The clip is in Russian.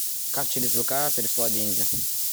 как через вк переслать деньги